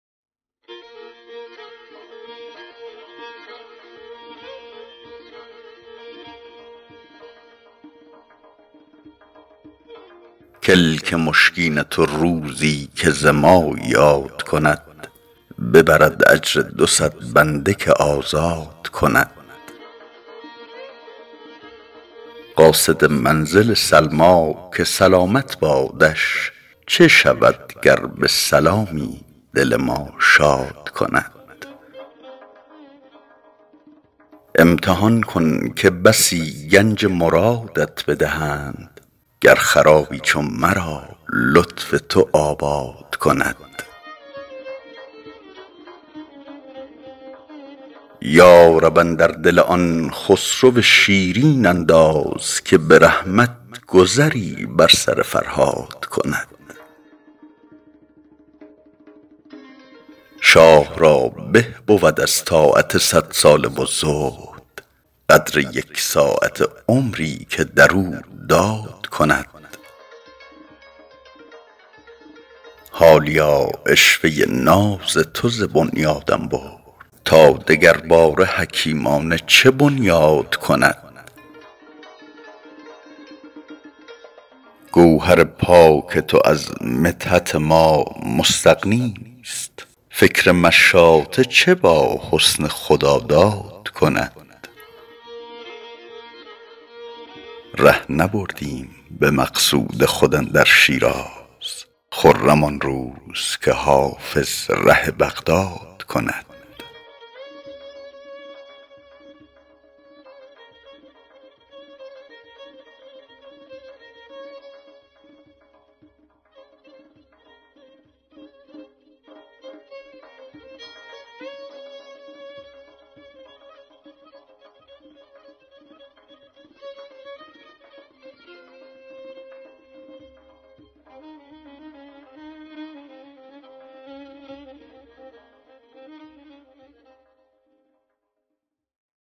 کلک مشکین تو روزی که ز ما یاد کند ببرد اجر دو صد بنده که آزاد کند قاصد منزل سلمیٰ که سلامت بادش چه شود گر به سلامی دل ما شاد کند امتحان کن که بسی گنج مرادت بدهند گر خرابی چو مرا لطف تو آباد کند یا رب اندر دل آن خسرو شیرین انداز که به رحمت گذری بر سر فرهاد کند شاه را به بود از طاعت صدساله و زهد قدر یک ساعته عمری که در او داد کند حالیا عشوه ناز تو ز بنیادم برد تا دگرباره حکیمانه چه بنیاد کند گوهر پاک تو از مدحت ما مستغنیست فکر مشاطه چه با حسن خداداد کند ره نبردیم به مقصود خود اندر شیراز خرم آن روز که حافظ ره بغداد کند